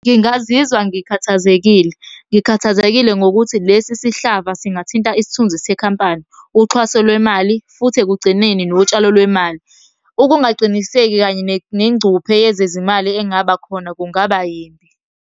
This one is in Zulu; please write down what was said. Ngingazizwa ngikhathazekile, ngikhathazekile ngokuthi lesi sihlava singathinta isithunzi sekhampani, uxhaso lwemali, futhi ekugcineni notshalo lwemali. Ukungaqiniseki kanye nezingcuphe yezezimali engaba khona kungaba yimbi.